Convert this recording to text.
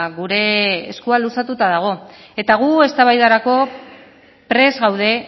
gure eskua luzatuta dago eta gu eztabaidarako prest gaude